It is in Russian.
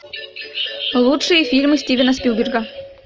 лучшие фильмы стивена спилберга